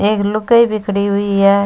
एक लुगाई भी खड़ी हुई है।